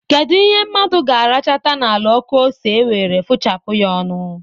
Kedụ ihe mmadụ ga-arachata n'ala ọkụ ose e were fụchapụ ya ọnụ?